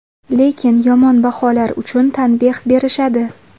Lekin yomon baholar uchun tanbeh berishadi.